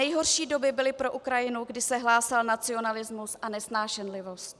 Nejhorší doby byly pro Ukrajinu, kdy se hlásal nacionalismus a nesnášenlivost.